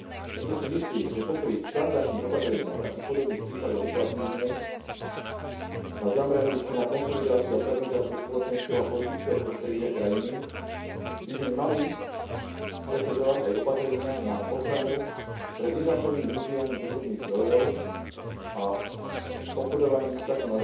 Preto si myslím, že popri štandardných opatreniach, aké v podobných prípadoch uplatňujeme, zameraných na konsolidáciu a stabilizáciu spoločenského a politického prostredia krajiny by sme mali presadzovať aj opatrenia na ochranu pred nezákonným využívaním prírodných zdrojov a obchodovaním s takto